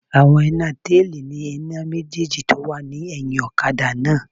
Àwọn iná táìlì ní iná méjèjì tó wà ní ẹ̀hìn ọ̀kadà náà